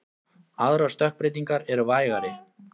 Aðrar stökkbreytingar eru vægari.